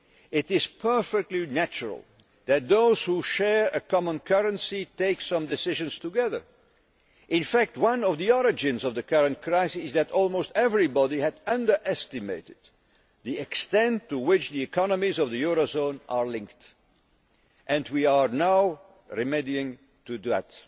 simple. It is perfectly natural that those who share a common currency take some decisions together. In fact, one of the origins of the current crisis is that almost everybody had underestimated the extent to which the economies of the eurozone are linked, and we are now remedying